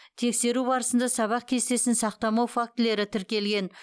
тексеру барысында сабақ кестесін сақтамау фактілері тіркелген